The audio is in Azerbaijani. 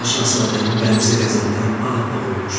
Balaca şahzadənin bənzi qəzəbdən ağappaq olmuşdu.